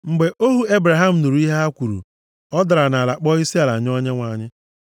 Mgbe ohu Ebraham nụrụ ihe ha kwuru, ọ dara nʼala kpọọ isiala nye Onyenwe anyị.